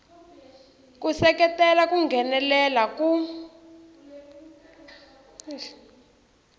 ku seketela ku nghenelela ku